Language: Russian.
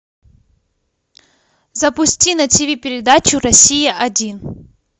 запусти на тв передачу россия один